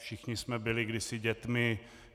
Všichni jsme byli kdysi dětmi.